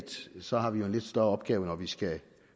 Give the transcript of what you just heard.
så har vi jo en lidt større opgave når vi skal